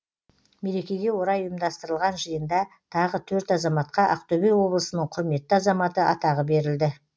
мерекеге орай ұйымдастырылған жиында тағы төрт азаматқа ақтөбе облысының құрметті азаматы атағы берілді